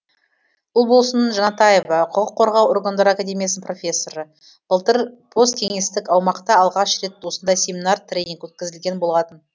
ұлболсын жанатаева құқық қорғау органдары академиясының профессоры былтыр посткеңестік аумақта алғаш рет осындай семинар тренинг өткізілген болатын